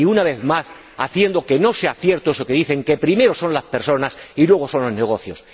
Y, una vez más, haciendo que no sea cierto eso que dicen que primero son las personas y luego son los negocios.